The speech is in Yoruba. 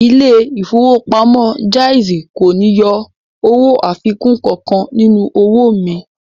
Ilé ìfowópamọ́ Jaiz kò ní yọ owó àfikún kankan nínú owó mi